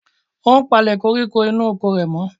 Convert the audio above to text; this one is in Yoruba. Ó ń palẹ̀ koríko inú oko rẹ̀ mọ́.